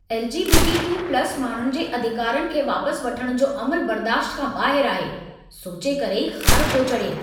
LGBTQ+ माण्हुनि जे अधिकारनि खे वापसि वठणु जो अमलु बर्दाश्ति खां ॿाहिरि आहे. सोचे करे ई ख़ारु पियो चढ़े।